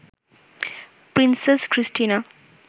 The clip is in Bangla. princess Christina